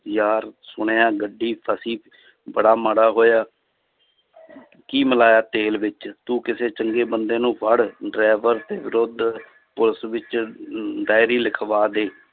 ਯਾਰ ਸੁਣਿਆ ਹੈ ਗੱਡੀ ਫਸੀ ਬੜਾ ਮਾੜਾ ਹੋਇਆ ਕੀ ਮਿਲਾਇਆ ਤੇਲ ਵਿੱਚ ਤੂੰ ਕਿਸੇ ਚੰਗੇ ਬੰਦੇ ਨੂੰ ਫੜ driver ਦੇ ਵਿਰੁੱਧ ਪੁਲਿਸ ਵਿੱਚ ਅਮ diary ਲਿਖਵਾ ਦੇ